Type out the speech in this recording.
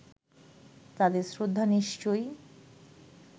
তাদের শ্রদ্ধা নিশ্চয়ই